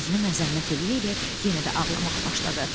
Özünü məzəmmət eləyə-eləyə yenə də ağlamağa başladı.